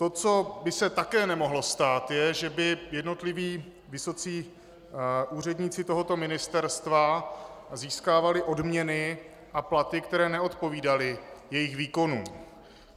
To, co by se také nemohlo stát, je, že by jednotliví vysocí úředníci tohoto ministerstva získávali odměny a platy, které neodpovídaly jejich výkonu.